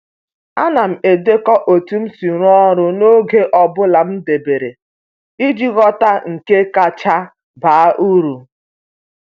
A na m edekọ otu m si rụọ ọrụ n’oge ọ bụla m debere iji ghọta nke kacha baa uru.